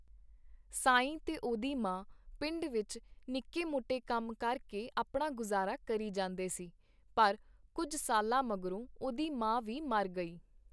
ਸਾਈਂ ਤੇ ਉਹਦੀ ਮਾਂ ਪਿੰਡ ਵਿੱਚ ਨਿੱਕੇ ਮੋਟੇ ਕੰਮ ਕਰਕੇ ਆਪਣਾ ਗੁਜ਼ਾਰਾ ਕਰੀ ਜਾਂਦੇ ਸੀ, ਪਰ ਕੁੱਝ ਸਾਲਾਂ ਮਗਰੋਂ ਉਹਦੀ ਮਾਂ ਵੀ ਮਰ ਗਈ.